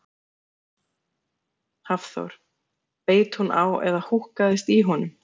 Hafþór: Beit hún á eða húkkaðist í honum?